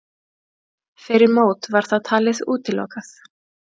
Fyrir mót var það talið útilokað.